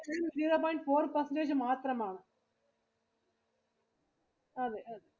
zero point four percentage മാത്രമാണ്. അതെ അതെ